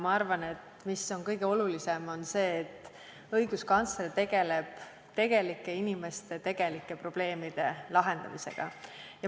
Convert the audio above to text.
Ma arvan, et kõige olulisem on see, et õiguskantsler tegeleb tegelike inimeste tegelike probleemide lahendamisega.